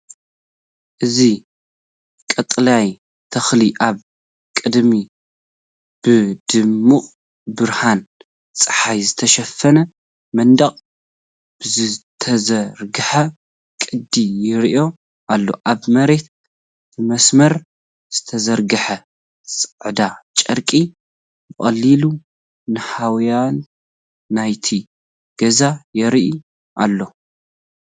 እዚ ቀጠልያ ተኽሊ ኣብ ቅድሚ ብድሙቕ ብርሃን ጸሓይ ዝተሸፈነ መንደቕ ብዝተዘርግሐ ቅዲ ይረአ ኣሎ። ኣብ መሬት ብመስመር ዝተዘርግሐ ጻዕዳ ጨርቂ ብቐሊሉ ንሃዋህው ናይቲ ገዛ የርእዩ ኣሎ።